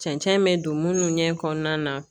Cɛncɛn mɛ don munnu ɲɛ kɔɔna na